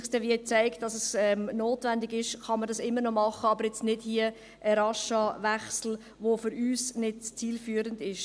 Wenn es sich zeigt, dass es notwendig ist, kann man es immer noch tun, aber nicht hier mit einem raschen Wechsel, der für uns nicht zielführend ist.